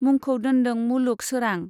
मुंखौ दोनदों मुलुग सोरां।